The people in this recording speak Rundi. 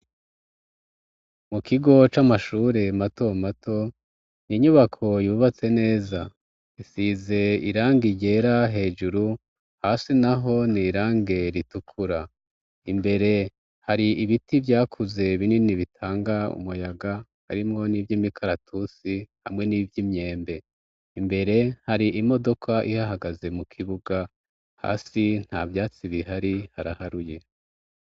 Mu kigo c'amashure mato mato, n'inyubako yubatse neza. Isize irangi ryera hejuru, hasi n'aho n'irangi ritukura. Imbere har'ibiti vyakuze binini bitanga umuyaga. Harimwo n'ivy'imikaratusi hamwe n'ivy'imyembe. Imbere, har'imodoka ihahagaze. Mu kibuga hasi, nta vyatsi bihari haraharuye.